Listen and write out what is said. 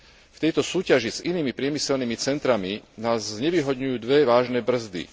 V tejto súťaži s inými priemyselnými centrami nás znevýhodňujú dve vážne brzdy.